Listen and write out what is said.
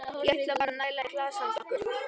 Ég ætla bara að næla í glas handa okkur.